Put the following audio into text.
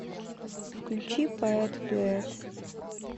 включи поэт дуэт